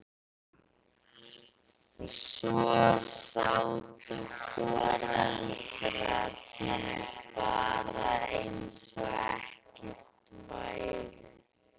Svo sátu foreldrarnir bara eins og ekkert væri.